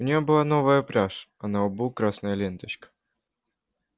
у неё была новая пряжь а на лбу красная ленточка